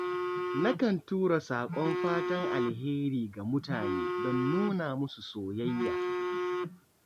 Nakan tura saƙon fatan alheri ga mutane don nuna musu soyayya.